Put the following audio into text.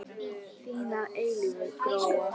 Þín að eilífu, Gróa.